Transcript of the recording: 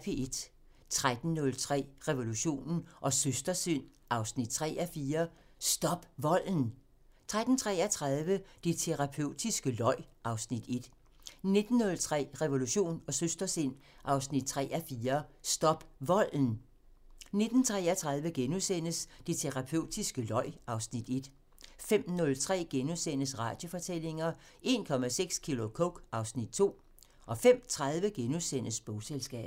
13:03: Revolution & Søstersind 3:4 – Stop volden! 13:33: Det terapeutiske løg (Afs. 1) 19:03: Revolution & Søstersind 3:4 – Stop volden! 19:33: Det terapeutiske løg (Afs. 1)* 05:03: Radiofortællinger: 1,6 kilo coke - (Afs. 2)* 05:30: Bogselskabet *